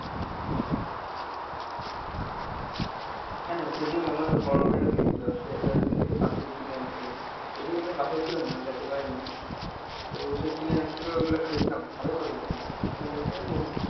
হ্যাঁ সেইদিন আমার বড়োভাইও গেছিলো, সে ওখান থেকে পাটালি কিনে আনছিলো। যদিও আমি বাসায় ছিলাম না যেতে পারিনি, তো সে কিনে আনছিলো ওইগুলো খাইছিলাম ভালোই মজা লাগছিলো। আপনি খাইছেন নাকি ওখান থেকে?